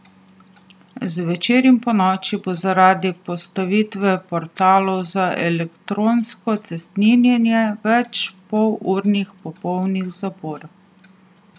Zvečer in ponoči bo zaradi postavitve portalov za elektronsko cestninjenje več pol urnih popolnih zapor.